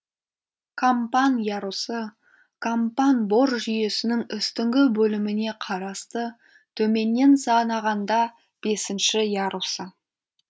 кампан ярусы кампан бор жүйесінің үстіңгі бөліміне қарасты төменнен санағанда бесінші ярусы